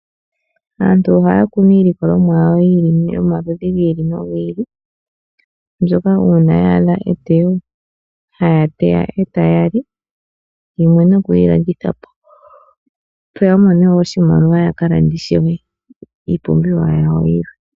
Aantu ohaya kunu iilikolomwa yawo yomaludhi gi ili nogili, mbyoka uuna ya adha eteyo, haya teya e taya li, nokuyi landithapo, opo yamone oshimaliwa yakalande iipumbiwa yawo yi ili.